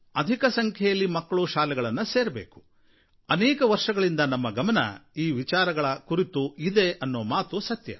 ಅಧಿಕ ಸಂಖ್ಯೆಯಲ್ಲಿ ಮಕ್ಕಳು ಶಾಲೆಗಳನ್ನು ಸೇರಬೇಕು ಅನೇಕ ವರ್ಷಗಳಿಂದ ನಮ್ಮ ಲಕ್ಷ್ಯ ಈ ವಿಚಾರಗಳ ಕುರಿತು ಇದೆಯೆನ್ನುವ ಮಾತು ಸತ್ಯ